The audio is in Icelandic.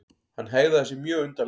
Hann hegðaði sér mjög undarlega.